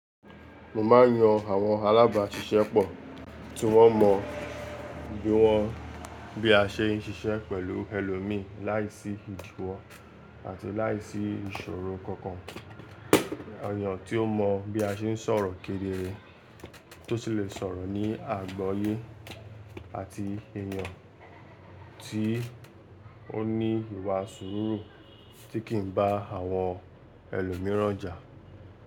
Mo ma n yan àwọn alábàáṣiṣẹ́ pọ̀ tí wọ́n mọ bí wọ́n bí a ṣe ń ṣiṣẹ́ pẹ̀lú ẹlòmí láìsí ìdiwọ́ àti láìsí ìṣòro kankan. Èyàn tí ó mọ̀ bí a ṣe ń sọ̀rọ̀ kedereitó sì lè sọ̀rọ̀ ní àgboyé àti èèyàn tí ó ní ìwà sùúrù tí kì í bá àwọn ẹlòmíràn jà.